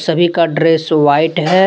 सभी का dress white है।